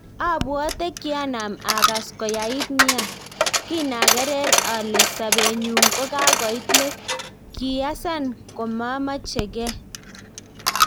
Apwatet kianap akas koyait nia, kinaker ale sapetnyu kokakoit let, kiyasan komamachen'ge.